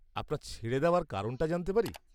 আপনার ছেড়ে দেওয়ার কারণটা জানতে পারি?